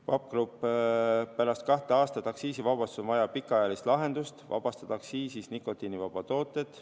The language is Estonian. Vape Group OÜ: pärast kahte aastat aktsiisivabastust on vaja pikaajalist lahendust, vabastada aktsiisist nikotiinivabad tooted.